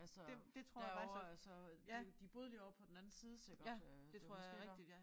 Altså derovre altså de de boede lige derovre på den anden side sikkert øh det var måske dér